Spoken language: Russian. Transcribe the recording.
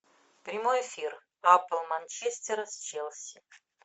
прямой эфир апл манчестера с челси